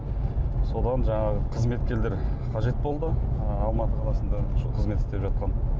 содан жанағы қызметкерлер қажет болды ы алматы қаласында қызмет істеп жатқанмын